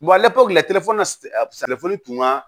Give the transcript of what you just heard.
tun ka